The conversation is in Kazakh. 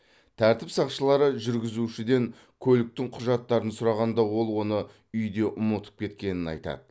тәртіп сақшылары жүргізушіден көліктің құжаттарын сұрағанда ол оны үйде ұмытып кеткенін айтады